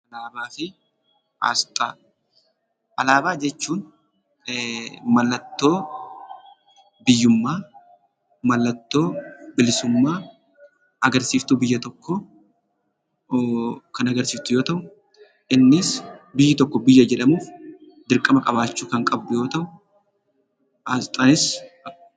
Alaabaa fi Asxaa. Alaabaa jechuun maallatoo biyyummaa, maallatoo billisuummaa, agarsistuu biyyaa tokko kan agarsistuu yoo ta'u innis biyyi tokko biyyaa jedhamuuf dirqamaa qabachuu kan qabdu yoo ta'u asxaanis...